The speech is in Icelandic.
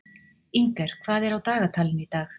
Inger, hvað er á dagatalinu í dag?